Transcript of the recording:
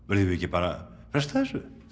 verðum við ekki bara að fresta þessu